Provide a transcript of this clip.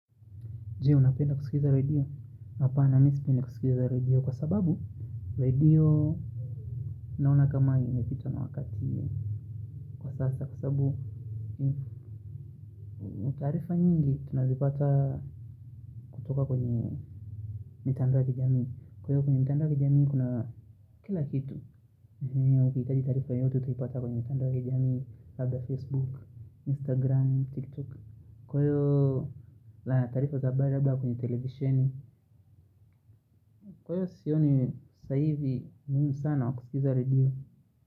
Jee unapenda kuskiza radio, apana mi sipindi kuskiza radio kwa sababu radio Naona kama imepitwa na wakati kwa sasa kusabu ni taarifa nyingi tunazipata kutoka kwenye mitandao ya kijamii Kwaiyo kwenye mitandao ya kijamii kuna kila kitu eeh, ukihitaji tarifa yoyote utaipata kwenye mitandao ya jamii, labda facebook, instagram, tiktok Kwaiyo la taarifa za habari labda kwenye televiseni Kwaiyo sioni saizi muhimu sana wa kuskiza redio.